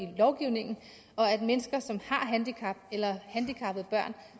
lovgivningen og at mennesker som har et handicap eller har handicappede børn